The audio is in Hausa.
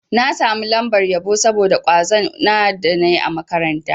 Na samu lambar yabo saboda kwazon da na yi a makaranta.